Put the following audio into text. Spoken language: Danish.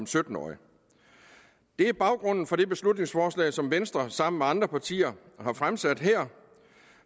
sytten årige det er baggrunden for det beslutningsforslag som venstre sammen med andre partier har fremsat her